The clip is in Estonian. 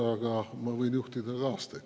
Aga ma võin juhtida ka aastaid.